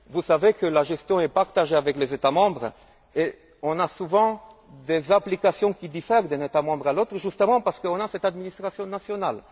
Vous savez que la gestion est partagée avec les États membres et nous avons souvent des applications qui diffèrent d'un État membre à l'autre, justement parce qu'on a une administration nationale.